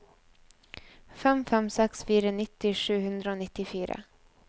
fem fem seks fire nitti sju hundre og nittifire